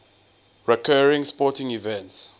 recurring sporting events